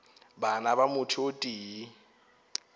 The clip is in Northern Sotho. bana ba motho o tee